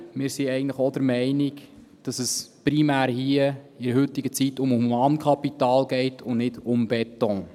Wir sind aber eigentlich auch der Meinung, dass es hier in der heutigen Zeit primär um Humankapital geht, und nicht um Beton.